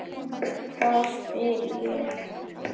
Hvað? spyr ég.